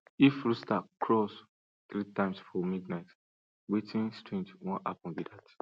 if rooster crows three times for midnight wetin strange wan happen be dat